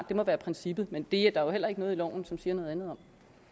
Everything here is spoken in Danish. det må være princippet men der er jo heller ikke noget i loven som siger noget andet